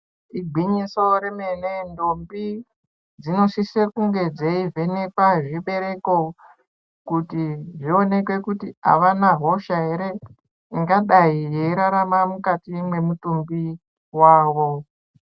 Igwinyiso remene, ndombi dzinosise kunge dzeivhenekwa zvibereko kuti zvionekwe kuti havana hosha here ingadai yeirarama mukati mwemutumbi wavo.